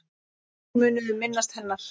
Þannig munum við minnast hennar.